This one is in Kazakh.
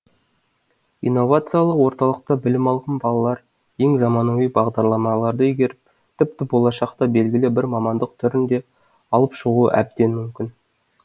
инновациялық орталықта білім алған балалар ең заманауи бағдарламаларды игеріп тіпті болашақта белгілі бір мамандық түрін де алып шығуы әбден мүмкін